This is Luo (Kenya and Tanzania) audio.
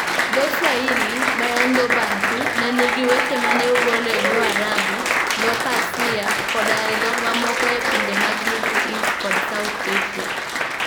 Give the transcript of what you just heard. Dho Swahili, ma en dho Bantu, ne nigi weche ma ne ogol e dho Arabu, dho Persia, koda e dhok mamoko e pinje mag Middle East kod South Asia.